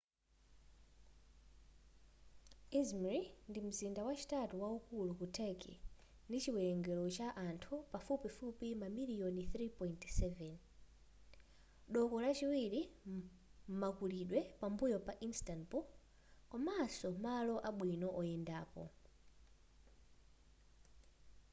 izmri ndi mzinda wachitatu waukulu ku turkey ndi chiwelengero cha anthu pafupifupi mamiliyoni 3.7 doko lachiwilri m'makulidwe pambuyo pa instanbul komanso malo abwino oyendapo